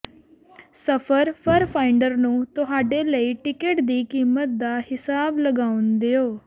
ਸਫਰ fare finder ਨੂੰ ਤੁਹਾਡੇ ਲਈ ਟਿਕਟ ਦੀ ਕੀਮਤ ਦਾ ਹਿਸਾਬ ਲਗਾਉਣ ਦਿਓ